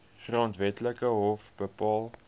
grondwetlike hof bepaal